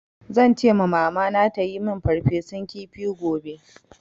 Zan ce ma Mamana ta yi min farfesun kifi gobe.